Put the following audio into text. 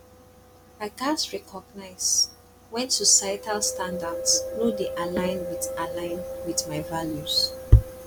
i gats recognize when societal standards no dey align with align with my values